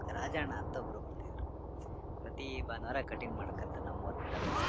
ರಾಜ ಅಣ್ಣ ಅಂತ ಒಬ್ಬರು ಬರತಿದ್ರು ಪ್ರತಿ ಬಾನವಾರ ಕಟಿಂಗ್ ಮಾಡಕೊಂಡತ್ತಾ ನಮ್ಮ ಊರು ಕಡೆ ಬರೋರು.